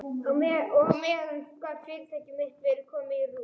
Og á meðan gat fyrirtæki mitt verið komið í rúst.